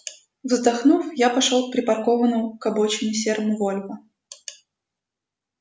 вздохнув я пошёл к припаркованному к обочине серому вольво